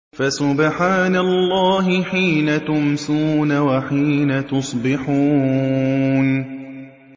فَسُبْحَانَ اللَّهِ حِينَ تُمْسُونَ وَحِينَ تُصْبِحُونَ